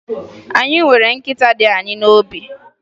Anyị nwere nkịta dị anyị n'obi